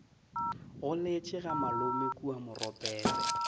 goletše ga malome kua moropetse